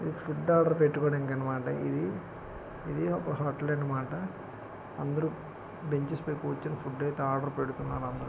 చిత్రం చూడండి సముద్రం పక్కనే విధంగా ఉన్నాయి. ఇది సముద్రంలో ఒక చోటు నుంచి మరో చోటుకు వెళ్లడానికి పడవ అనేది ఉపయోగపడుతుంది. సముద్రంలో స్నానం చేయవచ్చు ఈత కొట్టాలి.